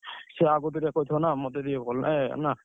ସିଏ ଆଗତରା କହିଥିବ ନା ମତେ ଟିକେ ଭଲ ଲାଗେନା ନା।